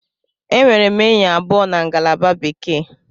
Enwere m enyi abụọ na ngalaba Bekee.